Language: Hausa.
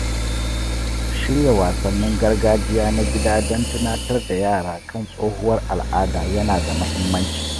Shirya wasannin gargajiya na gida don tunatar da yara kan tsohuwar al’ada ya na da muhimmanci.